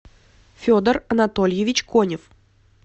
федор анатольевич конев